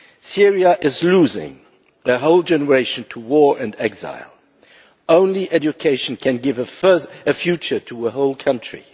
Syria is losing a whole generation to war and exile only education can give a future to a whole country.